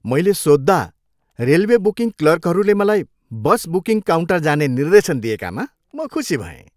मैले सोध्दा railway booking क्लर्कहरूले मलाई बस बुकिङ काउन्टर जाने निर्देशन दिएकामा म खुसी भएँ।